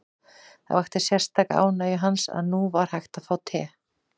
Það vakti sérstaka ánægju hans að nú var hægt að fá te.